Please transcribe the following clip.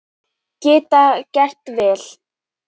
Geta gert vel